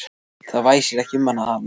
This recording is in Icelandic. Það væsir ekki um hann þarna.